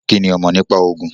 kini o mo nipa Ogun